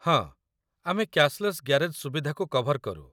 ହଁ, ଆମେ cashless garage ସୁବିଧାକୁ କଭର କରୁ।